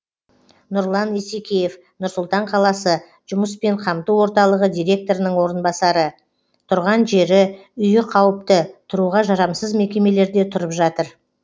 нұрлан исекеев нұр сұлтан қаласы жұмыспен қамту орталығы директорының орынбасары тұрған жері үйі қауіпті тұруға жарамсыз мекемелерде тұрып жатыр